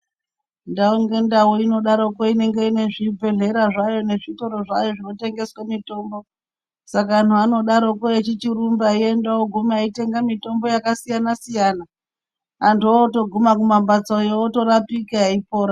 Ndau ngendau inodaroko inenge ine zvibhedhlera nezvitoro zvayo zvinotengeswa mitombo Saka vantu vanodaroko vechichirumba veigumayo veitenga mitombo yakasiyana-siyana antu oguma kumbatsoyo orapika eipona.